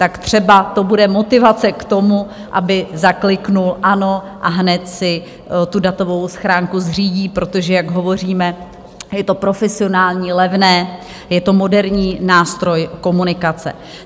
Tak třeba to bude motivace k tomu, aby zaklikl "ano", a hned si tu datovou schránku zřídí, protože, jak hovoříme, je to profesionální, levné, je to moderní nástroj komunikace.